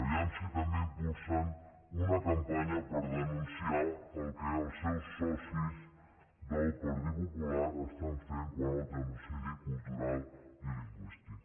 a veure si també impulsen una campanya per denunciar el que els seus socis del partit popular fan quant al genocidi cultural i lingüístic